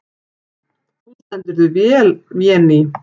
Þú stendur þig vel, Véný!